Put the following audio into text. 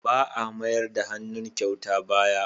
Ba a mayar da hannun kyauta baya.